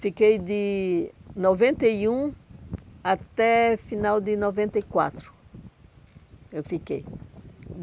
Fiquei de noventa e um até o final de noventa e quatro. Eu fiquei